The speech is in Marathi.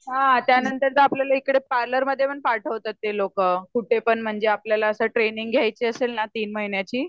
हां त्यानंतर आपल्याला पार्लरमध्ये पण पाठवतात ते लोक कुठे पण म्हणजे आपल्याला ट्रेनिंग घ्यायची असेल ना तीन महिण्याची तेव्हा